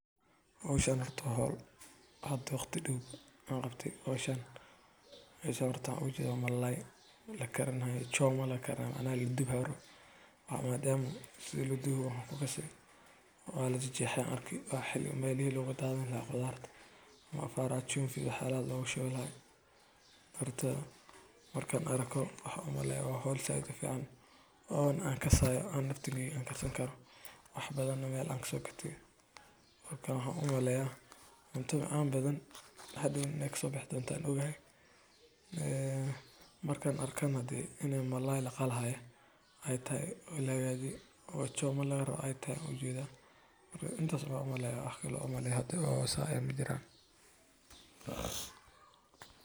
Howshan waa howl hada mar dow aan qabtay malalaygan waa choma Marka lagu daro "la dubay", weedhu waxay u noqotaa mid muujinaysa in qofkaasi oo horey u liitay haddana la dul dhigay culays kale, dhib hor leh, ama cadaadis dheeraad ah. Waa xaalad murugo leh oo qof sabool ah, miskiin ah, dhiban, uu sii wajaho dhibaato.